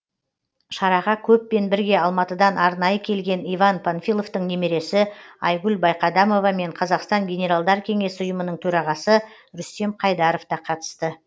шараға көппен бірге алматыдан арнайы келген иван панфиловтың немересі айгүл байқадамова мен қазақстан генералдар кеңесі ұйымының төрағасы рүстем қайдаров та қатысты